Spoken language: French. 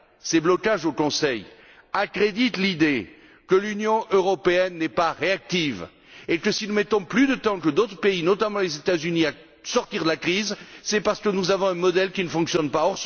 Ces blocages au Conseil accréditent l'idée que l'Union européenne n'est pas réactive et que si nous mettons plus de temps que d'autres pays notamment les États Unis pour sortir de la crise, c'est parce que nous avons un modèle qui ne fonctionne pas.